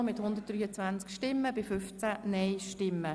Sie haben den Antrag SiK und Regierungsrat angenommen.